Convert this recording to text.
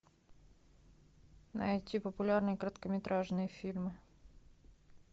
найти популярные короткометражные фильмы